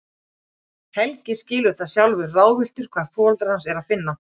Helgi skilur það, sjálfur ráðvilltur hvar foreldra hans er að finna.